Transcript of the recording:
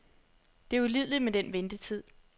Det er ulideligt med den ventetid.